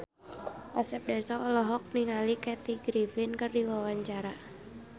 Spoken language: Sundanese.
Asep Darso olohok ningali Kathy Griffin keur diwawancara